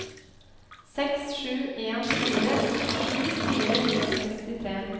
seks sju en fire syttisju fire hundre og sekstitre